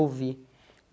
Ouvi.